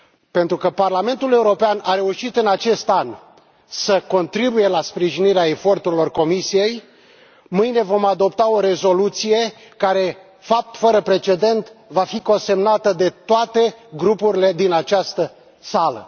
Pentru că Parlamentul European a reușit în acest an să contribuie la sprijinirea eforturilor Comisiei, mâine vom adopta o rezoluție care, fapt fără precedent, va fi consemnată de toate grupurile din această sală.